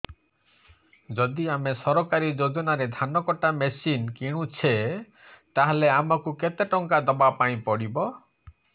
ଯଦି ଆମେ ସରକାରୀ ଯୋଜନାରେ ଧାନ କଟା ମେସିନ୍ କିଣୁଛେ ତାହାଲେ ଆମକୁ କେତେ ଟଙ୍କା ଦବାପାଇଁ ପଡିବ